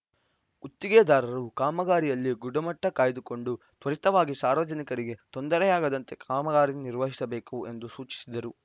ಗುತ್ತಿಗೆದಾರರು ಕಾಮಗಾರಿಯಲ್ಲಿ ಗುಣಮಟ್ಟಕಾಯ್ದುಕೊಂಡು ತ್ವರಿತವಾಗಿ ಸಾರ್ವಜನಿಕರಿಗೆ ತೊಂದರೆಯಾಗದಂತೆ ಕಾಮಗಾರಿ ನಿರ್ವಹಿಸಬೇಕು ಎಂದು ಸೂಚಿಸಿದರು